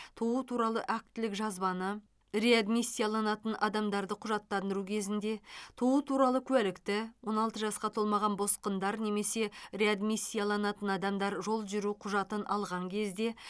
туу туралы актілік жазбаны реадмиссияланатын адамдарды құжаттандыру кезінде туу туралы куәлікті он алты жасқа толмаған босқындар немесе реадмиссияланатын адамдар жол жүру құжатын алған кезде